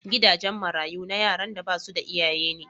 Gidajen marayu na yaran da basu da iyaye ne.